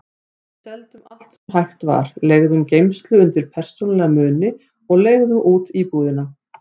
Við seldum allt sem hægt var, leigðum geymslu undir persónulega muni og leigðum út íbúðina.